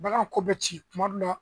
Bagan ko bɛ ci kuma dɔ la